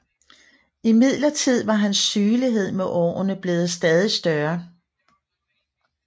Imidlertid var hans sygelighed med årene blevet stadig større